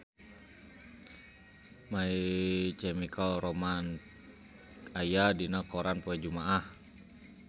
My Chemical Romance aya dina koran poe Jumaah